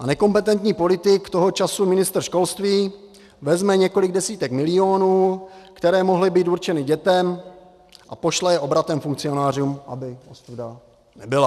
A nekompetentní politik, toho času ministr školství, vezme několik desítek milionů, které mohly být určeny dětem, a pošle je obratem funkcionářům, aby ostuda nebyla.